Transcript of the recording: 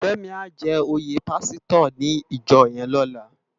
Femi á jè óyé pàsítò ni ijò yèn lòlá